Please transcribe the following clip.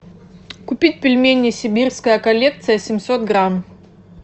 купить пельмени сибирская коллекция семьсот грамм